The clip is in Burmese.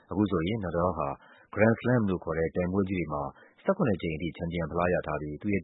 အခုဆိုရင် Nadal ဟာ Grand Slam လို့ခေါ်တဲ့ ပြိုင်ပွဲကြီးတွေမှာ ၁၇ ကြိမ်ထိ ချန်ပီယံဖလားရထားပြီး သူ့ရဲ့